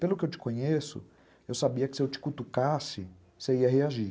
Pelo que eu te conheço, eu sabia que se eu te cutucasse, você ia reagir.